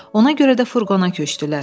Ona görə də furqona köçdülər.